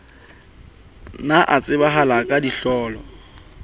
ne a tsebahala ka ditlolo